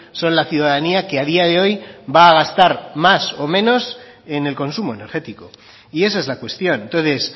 son la ciudadanía que a día de hoy va a gastar más o menos en el consumo energético y esa es la cuestión entonces